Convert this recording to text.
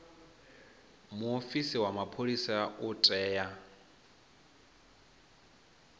muofisi wa mapholisa u tea